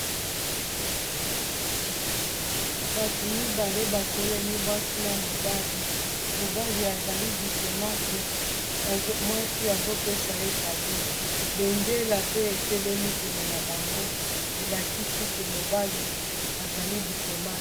Bato mibale batelemi mwasi na mobali mobali azali diplomate mwasi azopesa ye cado bendela pe etelemi pene na bango elakisi ke mobali azali diplomate.